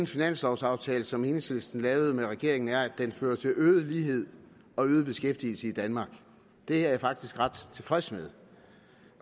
finanslovaftale som enhedslisten lavede med regeringen er at den fører til øget lighed og øget beskæftigelse i danmark det er jeg faktisk ret tilfreds med